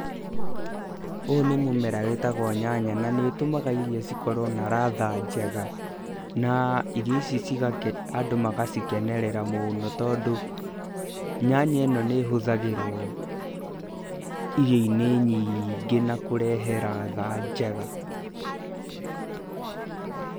Ũyũ nĩ mũmera wĩtagwo nyanya, na nĩ ũtũmaga irio cikorwo na ladha njega. Na irio ici andũ magacikenerera mũno, tondũ nyanya ĩno nĩ ĩhũthagĩrwo irio-inĩ nyingĩ na kũrehe ladha njega.